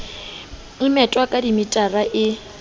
e methwang ka dimetara e